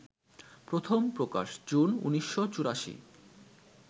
প্রথম প্রকাশ জুন ১৯৮৪